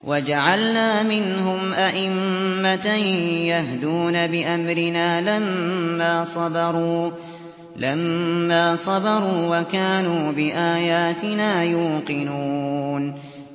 وَجَعَلْنَا مِنْهُمْ أَئِمَّةً يَهْدُونَ بِأَمْرِنَا لَمَّا صَبَرُوا ۖ وَكَانُوا بِآيَاتِنَا يُوقِنُونَ